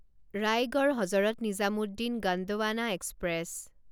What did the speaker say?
Raigarh Hazrat Nizamuddin Gondwana express